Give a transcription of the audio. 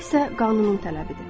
Bu isə qanunun tələbidir.